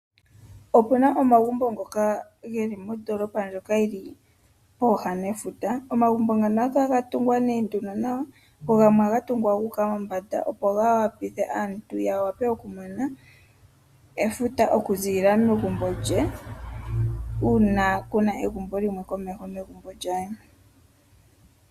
Okuna omagumbo ngoka geli mondoolopa ndjoka yili pooha nefuta. Omagumbo ngaano ohaga kala ga tungwa nawa go gamwe ohaga kala ga tungwa gu uka mombanda, opo yawa pithe aantu ya wape oku mona efuta oku ziilila megumbo lye uuna kuna egumbo limwe komeho negumbo lyaayeni.